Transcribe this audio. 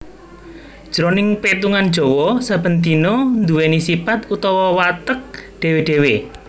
Jroning petungan Jawa saben dina nduwèni sipat utawa watek dhéwé dhéwé